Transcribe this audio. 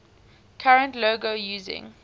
current logo using